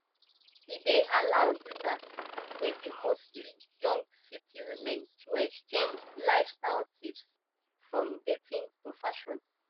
e dey allow users wey be mostly young city women to exchange lifestyle tips from dating to fashion